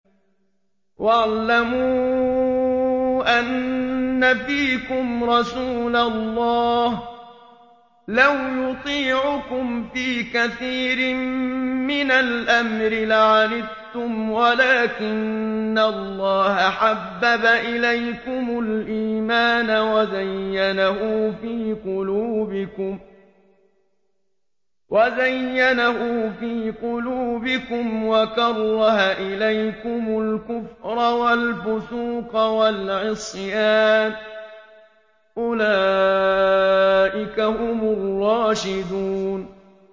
وَاعْلَمُوا أَنَّ فِيكُمْ رَسُولَ اللَّهِ ۚ لَوْ يُطِيعُكُمْ فِي كَثِيرٍ مِّنَ الْأَمْرِ لَعَنِتُّمْ وَلَٰكِنَّ اللَّهَ حَبَّبَ إِلَيْكُمُ الْإِيمَانَ وَزَيَّنَهُ فِي قُلُوبِكُمْ وَكَرَّهَ إِلَيْكُمُ الْكُفْرَ وَالْفُسُوقَ وَالْعِصْيَانَ ۚ أُولَٰئِكَ هُمُ الرَّاشِدُونَ